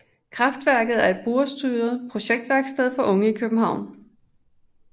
KraftWerket er et brugerstyret projektværksted for unge i København